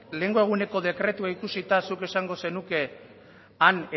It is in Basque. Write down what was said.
lehengo eguneko dekretua ikusita zuk esango zenuke han